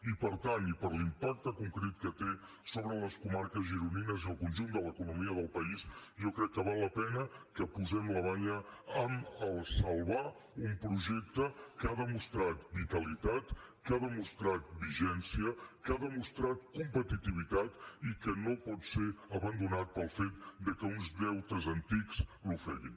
i per tant i per l’impacte concret que té sobre les comarques gironines i el conjunt de l’economia del país jo crec que val la pena que posem la banya en salvar un projecte que ha demostrat vitalitat que ha demostrat vigència que ha demostrat competitivitat i que no pot ser abandonat pel fet de que uns deutes antics l’ofeguin